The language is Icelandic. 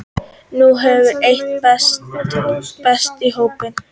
Nú hefur eitt bæst í hópinn